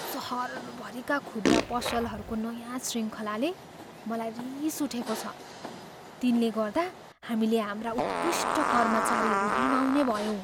सहरभरिका खुद्रा पसलहरूको नयाँ शृङ्खलाले मलाई रिस उठेकोछ, तिनले गर्दा हामीले हाम्रा उत्कृष्ट कर्मचारीहरू गुमाउने भयौँ।